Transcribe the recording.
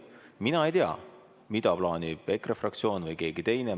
Mina ei tea, mida plaanib EKRE fraktsioon või keegi teine.